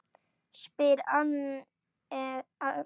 spyr Agnes.